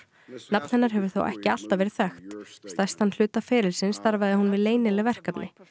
nafn hennar hefur þó ekki alltaf verið þekkt stærstan hluta ferilsins starfaði hún við leynileg verkefni